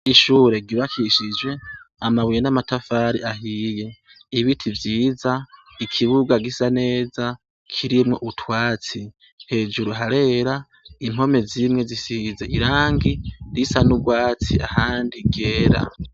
Ishure ryubakishij' amabuye n amatafar'ahiye, ibiti vyiza, ikibuga gisa neza, kirimw' utwatsi, hejuru harera, impombe zimwe zisiz' irangi risa n' ugwats' ahandi ryera.